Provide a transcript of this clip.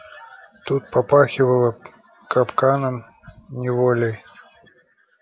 тут попахивало капканом неволей